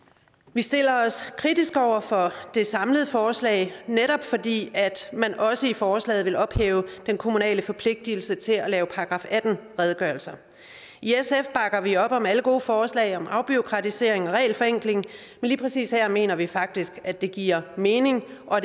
vi stiller os kritiske over for det samlede forslag netop fordi man også i forslaget vil ophæve den kommunale forpligtelse til at lave § atten redegørelser i sf bakker vi op om alle gode forslag om afbureaukratisering og regelforenkling men lige præcis her mener vi faktisk at det giver mening og